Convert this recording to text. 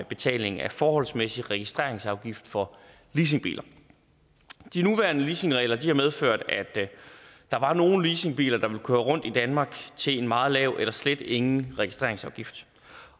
betaling af forholdsmæssig registreringsafgift for leasingbiler de nuværende leasingregler har medført at der var nogle leasingbiler der ville køre rundt i danmark til en meget lav eller slet ingen registreringsafgift